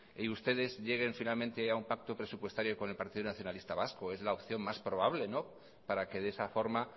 y ustedes lleguen finalmente a un pacto presupuestario con el partido nacionalista vasco es la opción más probable para que de esa forma